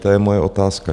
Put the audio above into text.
To je moje otázka.